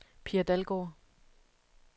Pia Dalgaard